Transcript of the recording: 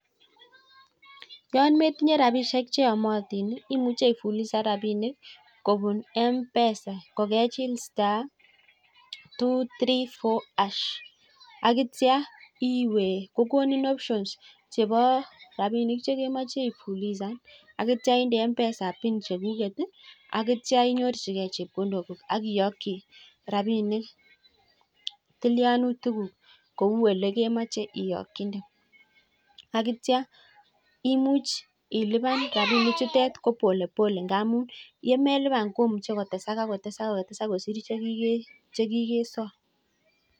Yin metinye rabishek cheomotin imuche ifulisan rabinik kobun mpesa ko kechil staa two ,three four ash akityaa iwee kokonin option kokonin rabishek chekemoch ifulisan akityo indeed mpesa bin chekuket ii akityo inyorchikei Checkendon guk ak iyokchi rabinik tilyanutik guk kou olekemoche iyochitee akityaa imuch ilipan rabinichutet jopolepole ingamun yemeliban ko imuch kotesak akotesak bakai kosir chekikesom.